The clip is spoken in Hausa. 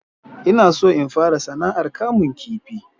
Ina so in fara sana'ar kamun kifi